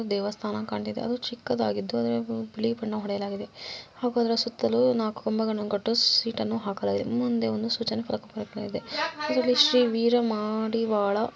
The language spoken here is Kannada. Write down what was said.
ಒಂದು ದೇವಸ್ಥಾನ ಕಾಣುತ್ತಾ ಇದೆ ಅದು ಚಿಕ್ಕದಾಗಿ ಅದಕ್ಕೆ ಬಿಳಿ ಬಣ್ಣ ಹೊಡೆಯಲಾಗಿದೆ ಹಾಗೂ ಅದರ ಸುತ್ತಲೂ ನಾಲ್ಕು ಕಂಬಗಳನ್ನು ಕಟ್ಟಿ ಶೀಟ್‌ಗಳನ್ನು ಹಾಕಲಾಗಿದೆ ಮುಂದೆ ಒಂದು ಸೂಚನಾ ಫಲಕ ಇದೆ ಇದ್ರಲ್ಲಿ ಶ್ರೀ ವೀರಾ ಮಡಿವಾಳ